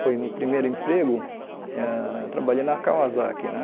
Foi no primeiro emprego, ãh trabalhei na Kawasaki né.